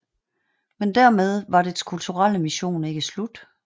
Men dermed var dets kulturelle mission ikke slut